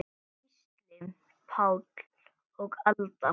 Gísli Páll og Alda.